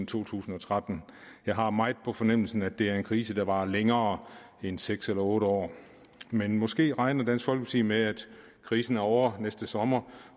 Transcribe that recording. to tusind og tretten jeg har meget på fornemmelsen at det er en krise der varer længere end seks eller otte år men måske regner dansk folkeparti med at krisen er ovre næste sommer